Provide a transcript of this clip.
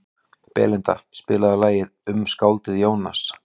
Belinda, spilaðu lagið „Um skáldið Jónas“.